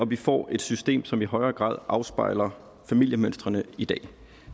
vi får et system som i højere grad afspejler familiemønstrene i dag